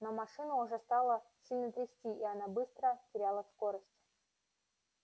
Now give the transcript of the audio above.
но машину уже стало сильно трясти и она быстро теряла скорость